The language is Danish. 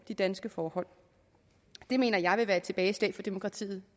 de danske forhold det mener jeg vil være et tilbageslag for demokratiet